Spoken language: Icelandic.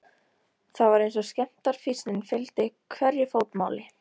Það var eins og skemmdarfýsnin fylgdi hverju fótmáli.